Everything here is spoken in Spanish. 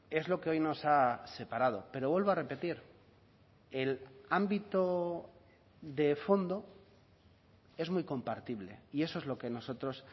es lo que hoy nos ha separado pero vuelvo a repetir el ámbito de fondo es muy compartible y eso es lo que nosotros